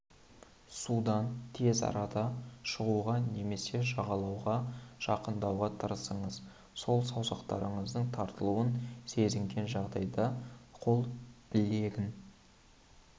судан тез арада шығуға немесе жағалауға жақындауға тырысыңыз қол саусақтарының тартылуын сезінген жағдайда қол білегін